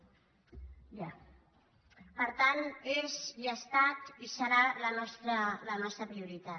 per tant és i ha estat i serà la nostra prioritat